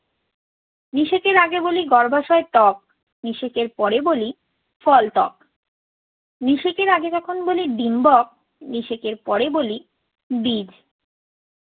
নিষেকের আগে বলি গর্ভাশয় ত্বক, নিষেকের পরে বলি ফল ত্বক। নিষেকের আগে যখন বলি ডিম্বক নিষেকের পরে বলি বীজ।